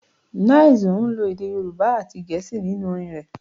9ice ń lo èdè Yorùbá àti Gẹ̀ẹ́sì nínú orin rẹ̀